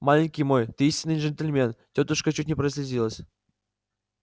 маленький мой ты истинный джентльмен тётушка чуть не прослезилась